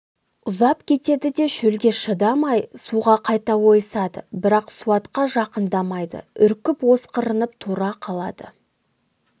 ұзап кетеді де шөлге шыдамай суға қайта ойысады бірақ суатқа жақындамайды үркіп осқырынып тұра қалады